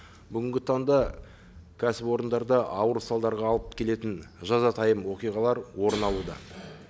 бүгінгі таңда кәсіпорындарда ауыр салдарға алып келетін жазатайым оқиғалар орын алуда